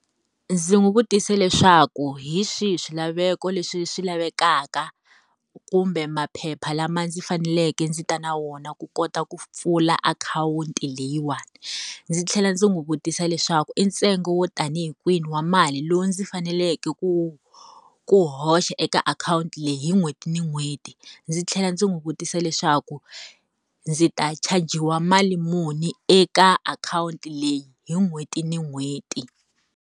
Ndzi n'wi vutise leswaku hi swihi swilaveko leswi swi lavekaka, kumbe maphepha lama ndzi faneleke ndzi ta na wona ku kota ku pfula akhawunti leyiwani? Ndzi tlhela ndzi n'wi vutisa leswaku i ntsengo wo ta ni hi kwini wa mali lowu ndzi faneleke ku ku hoxa eka akhawunti leyi hi n'hweti ni n'hweti? Ndzi tlhela ndzi n'wi vutisa leswaku, ndzi ta chajiwa mali muni eka akhawunti leyi hi n'hweti ni n'hweti?